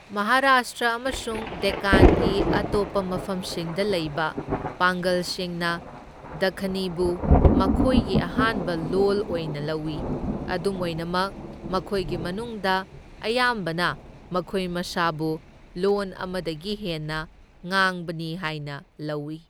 ꯃꯍꯥꯔꯥꯁꯇ꯭ꯔ ꯑꯃꯁꯨꯡ ꯗꯦꯛꯀꯥꯟꯒꯤ ꯑꯇꯣꯞꯄ ꯃꯐꯝꯁꯤꯡꯗ ꯂꯩꯕ ꯄꯥꯡꯒꯜꯁꯤꯡꯅ ꯗꯈꯅꯤꯕꯨ ꯃꯈꯣꯏꯒꯤ ꯑꯍꯥꯟꯕ ꯂꯣꯜ ꯑꯣꯏꯅ ꯂꯧꯏ, ꯑꯗꯨꯝ ꯑꯣꯏꯅꯃꯛ, ꯃꯈꯣꯏꯒꯤ ꯃꯅꯨꯡꯗ ꯑꯌꯥꯝꯕꯅ ꯃꯈꯣꯏ ꯃꯁꯥꯕꯨ ꯂꯣꯟ ꯑꯃꯗꯒꯤ ꯍꯦꯟꯅ ꯉꯥꯡꯕꯅꯤ ꯍꯥꯏꯅ ꯂꯧꯏ꯫